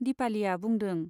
दिपालीया बुंदों।